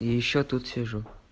ещё тут сижу